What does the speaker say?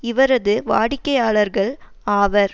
இவரது வாடிக்கையாளர்கள் ஆவர்